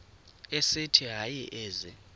esithi hayi ezi